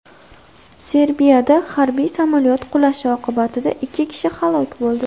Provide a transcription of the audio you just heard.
Serbiyada harbiy samolyot qulashi oqibatida ikki kishi halok bo‘ldi.